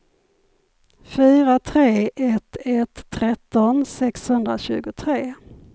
fyra tre ett ett tretton sexhundratjugotre